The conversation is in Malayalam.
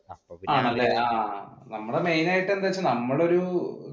നമ്മുടെ മെയിൻ ആയിട്ട് നമ്മൾ ഒരു